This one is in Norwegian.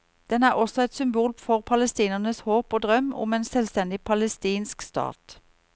Den er også et symbol for palestinernes håp og drøm om en selvstendig palestinsk stat.